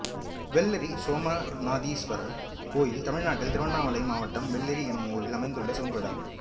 வெள்ளேரி சோமநாதீஸ்வரர் கோயில் தமிழ்நாட்டில் திருவண்ணாமலை மாவட்டம் வெள்ளேரி என்னும் ஊரில் அமைந்துள்ள சிவன் கோயிலாகும்